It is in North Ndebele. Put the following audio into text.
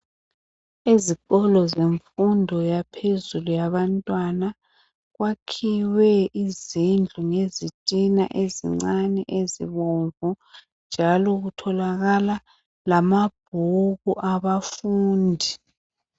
Izikolo zemfundo yaphezulu yabantwana. Kwakhiwe izindlu ngezitina ezincane ezibomvu njalo kutholakala lamabhuku abafundi.